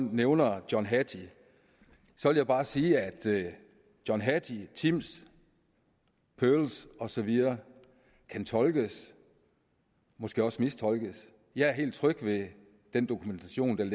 nævner john hattie vil jeg bare sige at john hattie timss pirls og så videre kan tolkes måske også mistolkes jeg er helt tryg ved den dokumentation den